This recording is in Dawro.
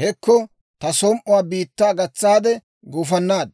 hekko, ta som"uwaa biittaa gatsaade gufannaad.